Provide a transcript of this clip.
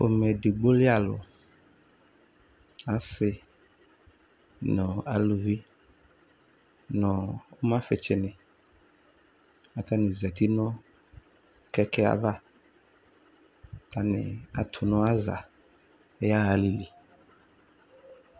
Pomɛ edigbo li alʋ Asi nʋ aluvi, nʋ ʋmafitsini, atani zati nʋ kɛkɛ ava, atani atʋ nʋ aza yaha alili